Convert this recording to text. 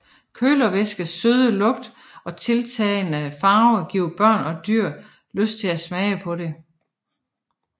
Kølervæskes søde smag og tiltalende farve giver børn og dyr lyst til at smage på det